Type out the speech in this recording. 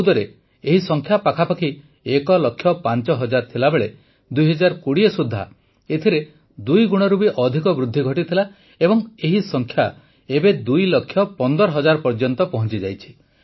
୨୦୧୪ରେ ଏହି ସଂଖ୍ୟା ପାଖାପାଖି ୧ ଲକ୍ଷ ୫ ହଜାର ଥିଲାବେଳେ ୨୦୨୦ ସୁଦ୍ଧା ଏଥିରେ ଦୁଇଗୁଣରୁ ବି ଅଧିକ ବୃଦ୍ଧି ଘଟିଥିଲା ଏବଂ ଏହି ସଂଖ୍ୟା ଏବେ ୨ ଲକ୍ଷ ୧୫ ହଜାର ପର୍ଯ୍ୟନ୍ତ ପହଂଚିଯାଇଛି